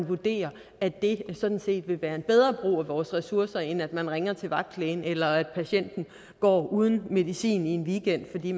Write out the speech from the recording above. vurderes at det sådan set vil være en bedre brug af vores ressourcer end at man ringer til vagtlægen eller patienten går uden medicin i en weekend fordi